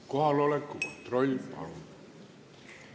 Kohaloleku kontroll, palun!